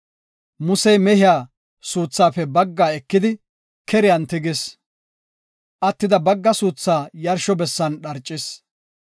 Musey mehiya suuthaafe bagga ekidi keriyan tigis; attida bagga suuthaa yarsho bessan dharcis.